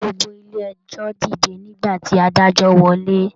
Gbogbo ilé ẹjọ dìde nígbà tí adájọ wọlé.